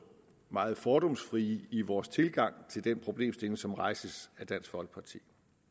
meget fordomsfrie i vores tilgang til den problemstilling som rejses af dansk folkeparti